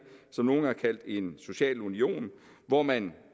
som nogen har kaldt en social union hvor man